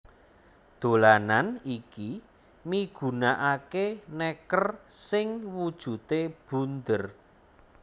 Dolanan iki migunakaké nèker sing wujudé bunder